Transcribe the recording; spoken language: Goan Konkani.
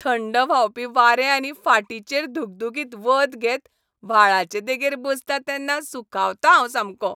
थंड व्हांवपी वारें आनी फाटीचेर धुगधुगीत वत घेत व्हाळाचे देगेर बसतां तेन्ना सुखावतां हांव सामको.